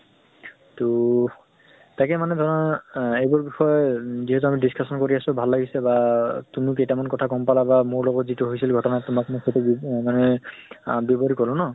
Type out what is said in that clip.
তহ তাকে মানে ধৰা আহ এইবোৰ বিষয়ে যিহেতু আমি discussion কৰি আছো, ভাল লাগিছে বা তুমিও কেইটামান কথা গম পালা বা মৰ লগত যিটো হৈছিল ঘটনা তোমাক মই সেইটো আহ মানে আহ বৱৰি কলো ন।